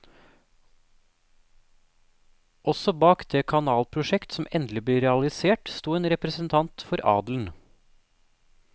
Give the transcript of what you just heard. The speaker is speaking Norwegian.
Også bak det kanalprosjekt som endelig ble realisert, sto en representant for adelen.